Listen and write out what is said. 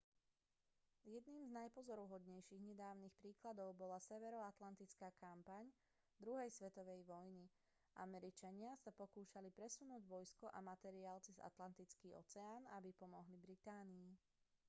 jedným z najpozoruhodnejších nedávnych príkladov bola severoatlantická kampaň druhej svetovej vojny američania sa pokúšali presunúť vojsko a materiál cez atlantický oceán aby pomohli británii